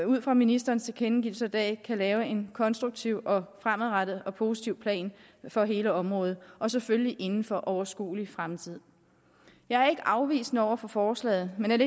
ud fra ministerens tilkendegivelser i dag kan lave en konstruktiv fremadrettet og positiv plan for hele området og selvfølgelig inden for overskuelig fremtid jeg er ikke afvisende over for forslaget men